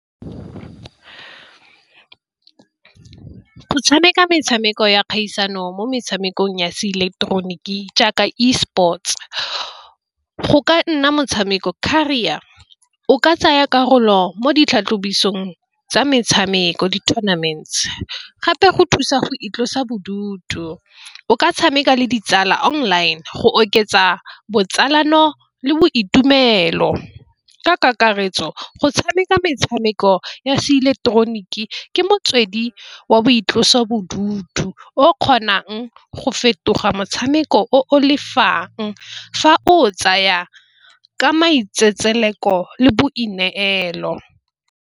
Go tshameka metshameko ya kgaisano mo metshamekong ya seileketeroniki jaaka eSports. Go ka nna motshameko career o ka tsaya karolo mo ditlhatlhobisong tsa metshameko di-tournaments, gape go thusa go itlosa bodutu. O ka tshameka le ditsala online go oketsa botsalano le boitumelo. Ka kakaretso go tshameka metshameko ya seileketeroniki ke motswedi wa boitlosobodutu o kgonang go fetoga motshameko o lefang. Fa o tsaya ka maitsetseleko le boineelo.